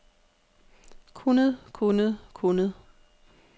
kunnet kunnet kunnet